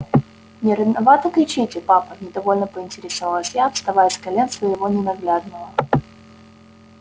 не рановато кричите папа недовольно поинтересовалась я вставая с колен своего ненаглядного